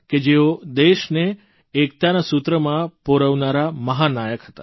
કે જેઓ દેશને એકતાના સૂત્રમાં પરોવનારા મહાનાયક હતા